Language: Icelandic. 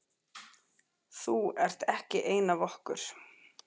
Þú ert ekki ein af okkur.